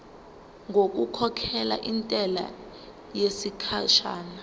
ngokukhokhela intela yesikhashana